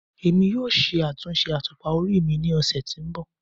Emi yoo ṣe atunṣe atupa ori mi ni ọsẹ to nbọ